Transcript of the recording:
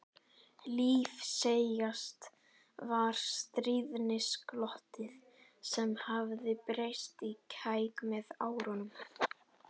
Lífseigast var stríðnisglottið sem hafði breyst í kæk með árunum.